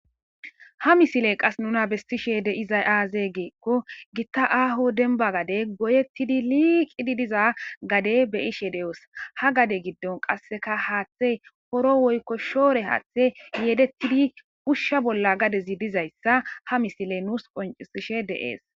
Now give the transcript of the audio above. ha misile qas nuna bestishe de'izay aaze geikko gitta aaho denba gade goyettidi liiqidi diza gade be ishe de'oos ha gade giddon qasseka haaththey horo woykko shoore haaththe yedettidi ushsha bolla gadezi dizayssa ha misile nuus qoncisishe de'ees.